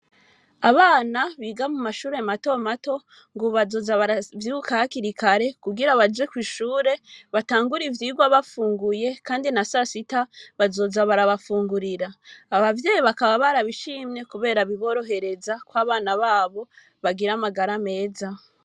Abana biga mu mashure mato mato, ngo bazoza baravyuka hakiri kare kugira baje kw'ishure batangure ivyigwa bafunguye ,kandi na sasita, bazoza barabafungurira. Abavyeyi bakaba barabishimye, kubera biborohereza ko abana b'abo bagira amagara meza.